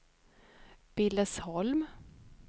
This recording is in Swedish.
Billesholm